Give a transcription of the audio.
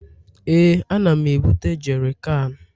Ee, ana m ebute jerikan